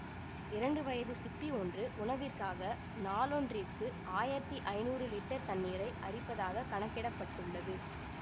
இரண்டு வயது சிப்பி ஒன்று உணவிற்காக நாளொன்றிற்கு ஆயிரத்தி ஐநூறு லிட்டர் தண்ணீரை அரிப்பதாக கணக்கிட பட்டுள்ளது